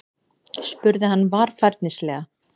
spurði hann varfærnislega.